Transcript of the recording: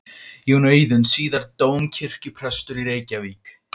Jón Auðuns, síðar dómkirkjuprestur í Reykjavík.